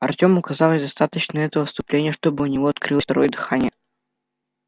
артему оказалось достаточно этого вступления чтобы у него открылось второе дыхание